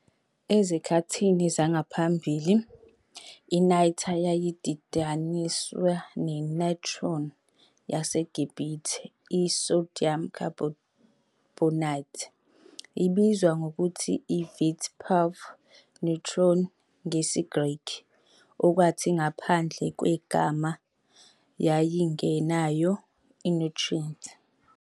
Ezikhathini zangaphambili, i-niter yayididaniswe ne-"natron" yaseGibhithe, i-sodium carbonate, - ebizwa ngokuthi i-vitpov nitron ngesiGreki - okwathi, ngaphandle kwegama, yayingenayo i-nitrate.